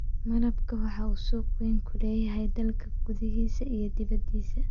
Malabka waxa uu suuq weyn ku leeyahay dalka gudihiisa iyo dibadiisa.